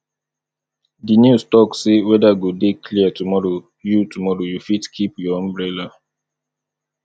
di news tok sey weather go dey clear tomorrow you tomorrow you fit keep your umbrella